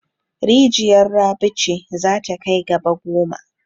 Rijiyar Rabi ce za ta kai gaba goma.